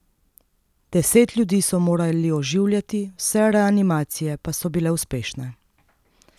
Deset ljudi so morali oživljati, vse reanimacije pa so bile uspešne.